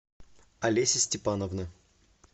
алеся степановна